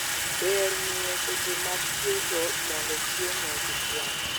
Ber ng'iyo seche mag chweko mondo chiemo kik wang'